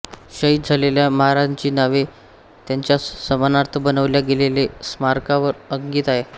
शहीद झालेल्या महारांची नावे त्यांच्या सन्मानार्थ बनवल्या गेलेल्या स्मारकावर अंकित आहे